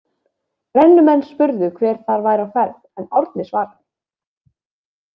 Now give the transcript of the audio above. Brennumenn spurðu hver þar væri á ferð en Árni svaraði.